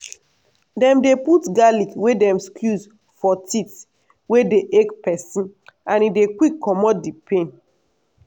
dem dey put garlic wey dem squeeze for teeth wey dey ache peson and e dey quick comot di pain.